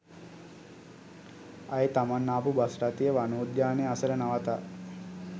අය තමන් ආපු බස්රථය වනෝද්‍යානය අසල නවතා